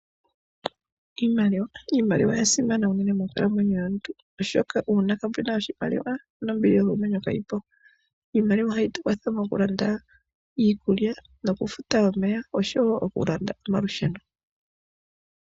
Iimaliwa. Iimaliwa oyasimana unene monkalamwenyo yomuntu . Uuna kapena oshimaliwa nombili yokomwenyo kayipo. Iimaliwa ohayi tukwathele mokulanda iikulya nokufuta omeya oshowo okulanda omalusheno.